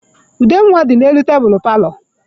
Ude nwa dị n'elu tebulu paalọ.